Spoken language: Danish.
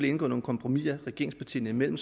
indgået nogle kompromiser regeringspartierne imellem